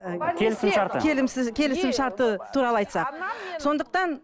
і келісімшарты келісімшарты туралы айтсақ сондықтан